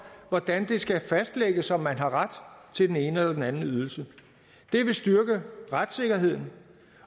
hvordan det skal fastlægges om man har ret til den ene eller anden ydelse det vil styrke retssikkerheden